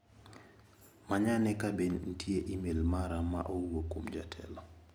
Manyane ka bende nitie imel mara ma owuok kuom jatelo.